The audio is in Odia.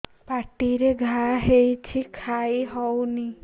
ପାଟିରେ ଘା ହେଇଛି ଖାଇ ହଉନି